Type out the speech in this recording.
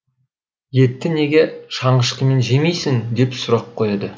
етті неге шанышқымен жемейсің деп сұрақ қояды